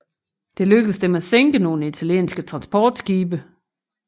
Det lykkedes dem at sænke nogle italienske transportskibe